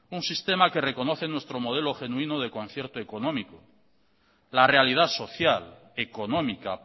un sistema que reconoce nuestro modelo genuino de concierto económico la realidad social económica